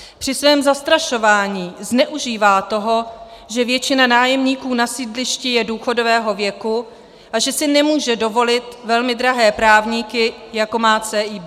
Při svém zastrašování zneužívá toho, že většina nájemníků na sídlišti je důchodového věku a že si nemůže dovolit velmi drahé právníky, jako má CIB.